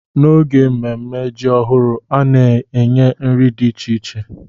N'oge mmemme ji ọhụrụ, a na-enye nri dị iche iche